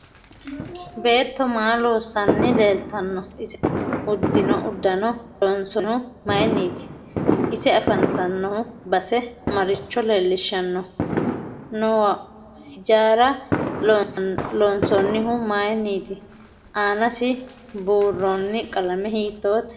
Beetto maa loosanni leeltano ise udidhinno uddanno loonsoonohu mayiiniiti ise afanttanno base maricho leelishanno noo hijaara loonsoonihu mayiiniiti aanasi buurooni qalame hiitoote